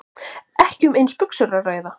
Ekki um eins buxur að ræða